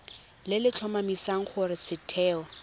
le le tlhomamisang gore setheo